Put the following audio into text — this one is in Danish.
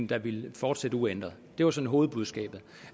der ville fortsætte uændret det var sådan hovedbudskabet